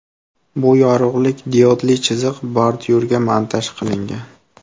Bu yorug‘lik diodli chiziq bordyurga montaj qilingan.